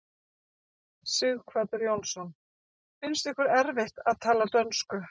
Sighvatur Jónsson: Finnst ykkur erfitt að tala dönsku?